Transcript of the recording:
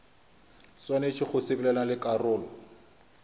swanetše go sepelelana le karolo